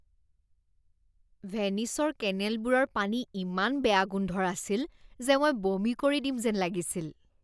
ভেনিচৰ কেনেলবোৰৰ পানী ইমান বেয়া গোন্ধৰ আছিল যে মই বমি কৰি দিম যেন লাগিছিল।